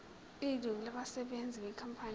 ilungu labasebenzi benkampani